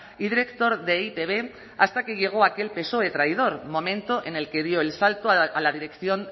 y director de e i te be hasta que llegó aquel psoe traidor momento en el que dio el salto a la dirección